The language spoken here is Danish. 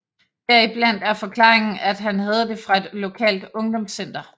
Deriblandt er forklaringen at han havde det fra et lokalt ungdomscenter